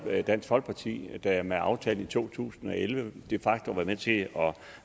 dansk folkeparti der med aftalen i to tusind og elleve de facto var med til at